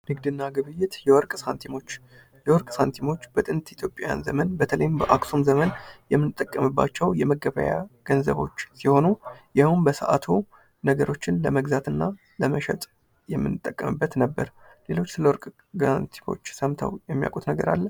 ንግድና ግብይት የወርቅ ሳንቲሞች የወርቅ ሳምቲሞች በጥንት ኢትዮጵያውያን ዘመን በተለይም በአክሱም ዘመነ የምንጠቀምባቸው የመገበያያ ገንዘቦች ሲሆኑ ይኸውም በሰአቱ ነገሮችን ለመግዛት ወይም ለመሸጥ የምንጠቀምበት ነበር። ሌሎች ስለ ወርቅ ታሪኮች ሰምተው የሚያውቁት ነገር አለ?